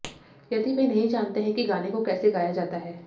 यदि वे नहीं जानते है कि गाने को कैसे गाया जाता है